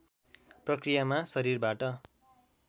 प्रक्रियामा शरीरबाट